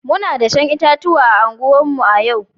Muna dashen itatuwa a unguwarmu a yau